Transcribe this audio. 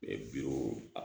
bi wo